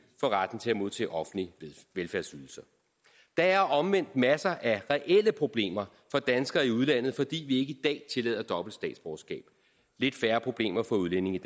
for retten til at modtage offentlige velfærdsydelser der er omvendt masser af reelle problemer for danskere i udlandet fordi vi ikke i dag tillader dobbelt statsborgerskab lidt færre problemer for udlændinge